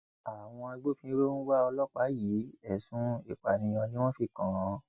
àwọn agbófinró ń wá ọlọpàá yìí ẹsùn ìpànìyàn ni wọn fi kàn án